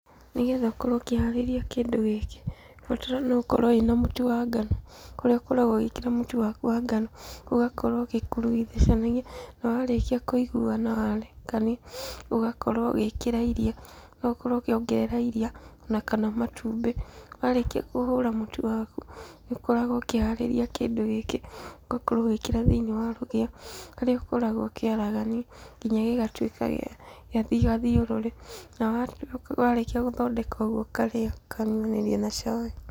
Nĩgetha ũkorwo ũkĩharĩria kĩndũ gĩkĩ, ũbatiĩ nĩ gũkorwo wĩ na mũtũ wa ngano, kũrĩa ũkoragwo ũgĩĩkĩra mũtũ waku wa ngano, ũgakorwo ũgĩkurugucania na warĩkia kũiguana warekania, ũgakorwo ũgĩĩkĩra iria, ũgakorwo ũkĩongerera iria ona kana matumbĩ. Warĩkia kũhũra mũtu waku nĩ ũkoragwo ũkiharĩria kĩndũ gĩkĩ, ũgakorwo ũgĩkĩra thĩiniĩ wa rũgĩo, harĩa ũkoragwo ũkĩaragania nginya gĩgatuĩka gĩa gathiũrũrĩ, na warĩkia gũthondeka ũguo ũkarĩa, ũkarĩanĩria na cai.